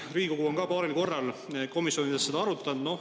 Riigikogu on ka paaril korral komisjonides seda arutanud.